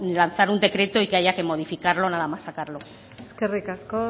lanzar un decreto y que haya que modificarlo nada más sacarlo eskerrik asko